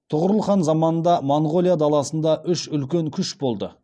тұғырыл хан заманында моңғолия даласында үш үлкен күш болды